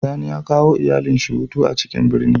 Sani ya kawo iyalin shi hutu a ciƙin birni.